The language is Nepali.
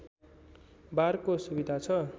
बारको सुविधा छ